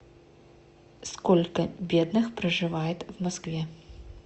сколько бедных проживает в москве